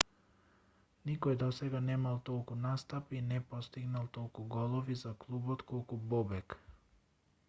никој досега немал толку настапи и не постигнал толку голови за клубот колку бобек